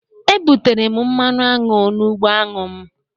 E butere m mmanụ aṅụ n'ugbo aṅụ m